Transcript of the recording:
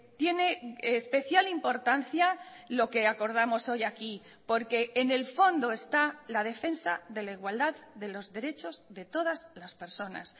tiene especial importancia lo que acordamos hoy aquí porque en el fondo está la defensa de la igualdad de los derechos de todas las personas